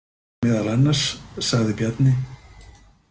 Meðal annars, sagði Bjarni.